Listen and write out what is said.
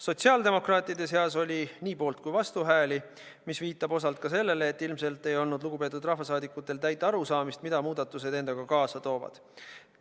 Sotsiaaldemokraatide seas oli nii poolt- kui ka vastuhääli, mis viitab osalt sellele, et ilmselt ei olnud lugupeetud rahvasaadikutel täit arusaamist, mida muudatused endaga kaasa toovad.